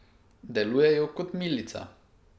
Delujejo kot milica.